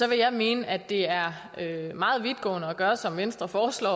jeg mene at det er meget vidtgående at gøre som venstre foreslår